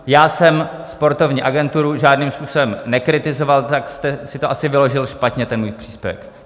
Já jsem sportovní agenturu žádným způsobem nekritizoval, tak jste si to asi vyložil špatně, ten můj příspěvek.